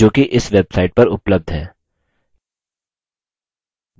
जोकि इस website पर उपलब्ध है